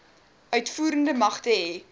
uitvoerende magte hê